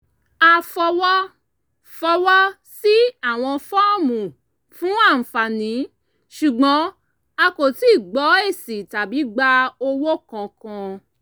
a fọwọ́ fọwọ́ sí àwọn fọ́ọ̀mù fún àǹfààní ṣùgbọ́n a kò tíì gbọ èsì tàbí gba owó kankan